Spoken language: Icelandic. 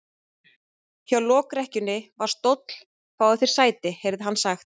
Hjá lokrekkjunni var stóll:-Fáðu þér sæti, heyrði hann sagt.